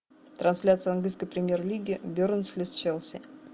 трансляция английской премьер лиги бернли с челси